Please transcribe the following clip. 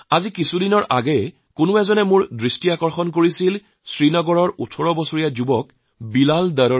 কিছুদিন আগতে শ্ৰীনগৰৰ ১৮ বছৰীয়া তৰুণ বিলাল ডাৰৰ সন্দৰ্ভত মোৰ মনোযোগ আকৰ্ষণ কৰে